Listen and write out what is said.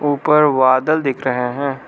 ऊपर बादल दिख रहे हैं।